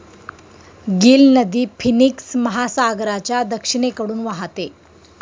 Gill नदी Phoenix महासागराच्या दक्षिणेकडून वाहते.